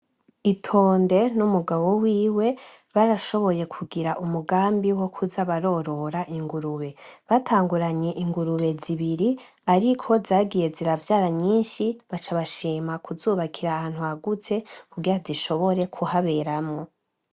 ITONDE n'umugabo wiwe barashoboye kugira umugambi wokuza barorora ingurube . Batanguranye ingurube zibiri ariko zagiye ziravyara nyinshi, baca bashima kuzubakira ahantu hagutse, kugira zishobore kuhaberamwo.